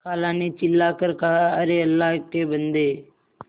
खाला ने चिल्ला कर कहाअरे अल्लाह के बन्दे